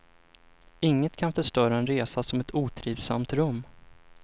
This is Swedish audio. Inget kan förstöra en resa som ett otrivsamt rum.